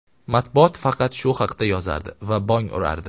Matbuot faqat shu haqda yozardi va bong urardi.